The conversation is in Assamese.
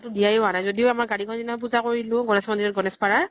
দিয়া য়ে হোৱানাই । যদিও আমাৰ দিনাও পুজা কৰিলো গণেশ মন্দিৰ ত গণেশ পাৰা ৰ